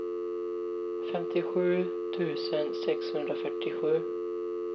femtiosju tusen sexhundrafyrtiosju